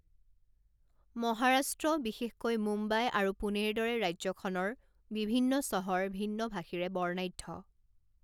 মহাৰাষ্ট্ৰ, বিশেষকৈ মুম্বাই আৰু পুণেৰ দৰে ৰাজ্যখনৰ বিভিন্ন চহৰ ভিন্ন ভাষীৰে বৰ্ণাঢ্য।